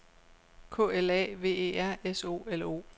K L A V E R S O L O